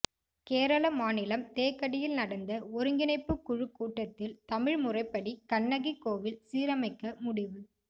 கேரள மாநிலம் தேக்கடியில் நடந்த ஓருங்கிணைப்பு குழு கூட்டத்தில் தமிழ் முறைப்படி கண்ணகி கோவில் சீரமைக்க முடிவு